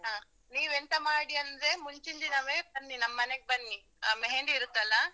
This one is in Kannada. ಹಾ ನೀವ್ ಎಂತ ಮಾಡಿ ಅಂದ್ರೆ, ಮುಂಚಿನ್ ದಿನವೇ ಬನ್ನಿ ನಮ್ಮ್ ಮನೆಗ್ ಬನ್ನಿ ಅಹ್ ಮೆಹಂದಿ ಇರತ್ತಲ್ಲ.